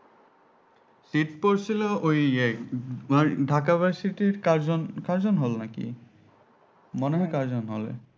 Seat পড়ছিল ওই ইয়ে ঢাকা versity র কার্জন কার্জন hall নাকি মনে হয় কার্জন hall এ